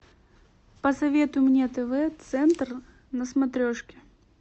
посоветуй мне тв центр на смотрешке